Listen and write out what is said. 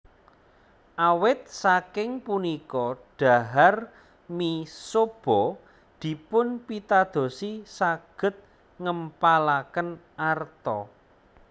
Awit saking punika dhahar mi soba dipunpitadosi saged ngempalaken arta